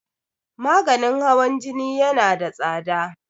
maganin hawan Jini yana da tsada